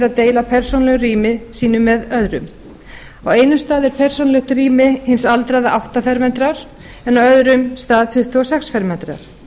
að deila persónulegu rými sínu með öðrum á einum stað er persónulegt rými hins aldraða átta fermetrar en öðrum stað tuttugu og sex fermetrar